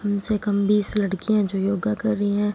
कम से कम बीस लड़कियां जो योगा कर रही हैं।